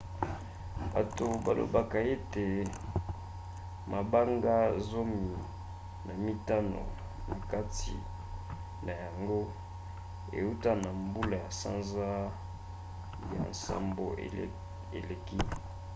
bato balobaka ete mabanga zomi na mitano na kati na yango euta na mbula ya sanza ya nsambo eleki